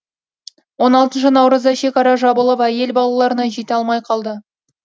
он алтыншы наурызда шекара жабылып әйел балаларына жете алмай қалды